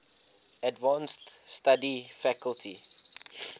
advanced study faculty